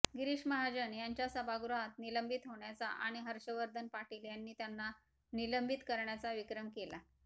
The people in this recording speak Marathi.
गिरीश महाजन यांचा सभागृहात निलंबित होण्याचा आणि हर्षवर्धन पाटील यांनी त्यांना निलंबित करण्याचा विक्रम केला